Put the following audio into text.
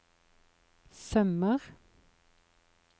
sømmer